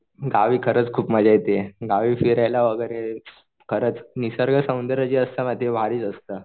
गावी खरंच खूप मजा येते गावी फिरायला वगैरे खरच निसर्ग सौंदर्य जे असतं ना ते भारीच असतं.